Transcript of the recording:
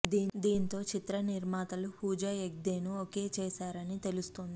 దీంతో చిత్ర నిర్మాతలు పూజా హగ్దే ను ఓకే చేసారని తెలుస్తుంది